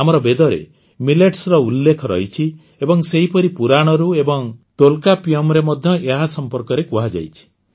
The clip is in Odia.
ଆମର ବେଦରେ ମିଲେଟସର ଉଲ୍ଲେଖ ରହିଛି ଏବଂ ସେହିପରି ପୁରାଣରୁ ଏବଂ ତୋଲକାପ୍ପିୟମରେ ମଧ୍ୟ ଏହା ସମ୍ପର୍କରେ କୁହାଯାଇଛି